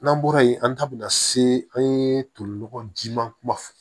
N'an bɔra yen an ta bɛna se an ye tolinɔgɔ jiman kumaba fɔ